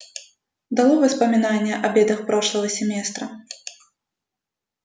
долой воспоминания о бедах прошлого семестра